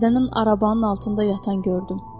Səhər tezdənənin arabanın altında yatan gördüm.